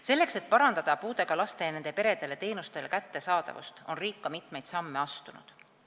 Selleks, et parandada puudega lastele ja nende peredele osutatavate teenuste kättesaadavust, on riik mitmeid samme astunud.